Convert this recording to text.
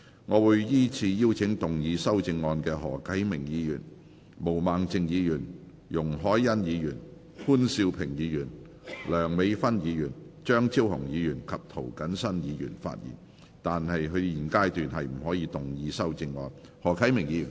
我會依次請要動議修正案的何啟明議員、毛孟靜議員、容海恩議員、潘兆平議員、梁美芬議員、張超雄議員及涂謹申議員發言；但他們在現階段不可動議修正案。